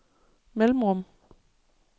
mellemrum